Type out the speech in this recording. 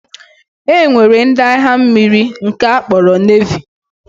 E nwere ndị agha mmiri nke a kpọrọ Nevi